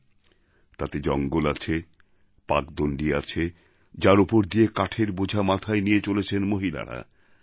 ওঠে তাতে জঙ্গল আছে পাকদণ্ডী আছে যার ওপর দিয়ে কাঠের বোঝা মাথায় নিয়ে চলেছেন মহিলারা